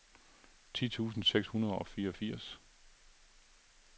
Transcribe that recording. ti tusind seks hundrede og fireogfirs